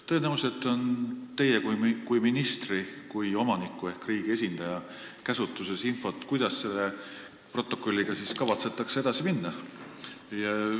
Tõenäoliselt on teie kui ministri, kui omaniku ehk riigi esindaja käsutuses infot, kuidas selle protokolliga kavatsetakse edasi minna.